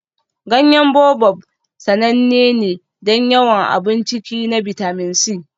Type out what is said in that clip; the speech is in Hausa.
Ganyen Baobab sananne ne don yawan abun ciki na bitamin C.